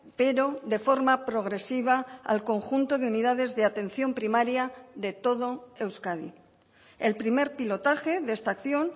pero de forma progresiva al conjunto de unidades de atención primaria de todo euskadi el primer pilotaje de esta acción